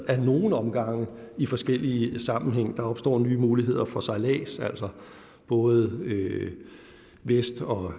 af nogle omgange i forskellige sammenhænge der opstår nye muligheder for sejlads altså både vest og